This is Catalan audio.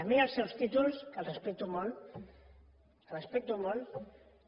a mi els seus títols que els respecto molt que els respecto molt